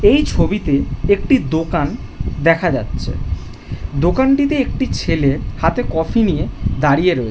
এই ছবিতে একটি দোকান দেখা যাচ্ছে দোকানটিতে একটি ছেলে হাতে কফি নিয়ে দাঁড়িয়ে রয়ে --